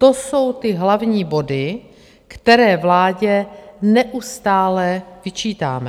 To jsou ty hlavní body, které vládě neustále vyčítáme.